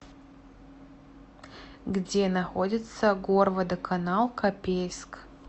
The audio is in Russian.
где находится горводоканал копейск